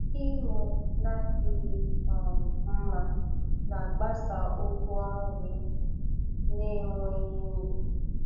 Ịmụ na-adịghị um nma na-agbasa ụgwọ nri na-enweghị uru.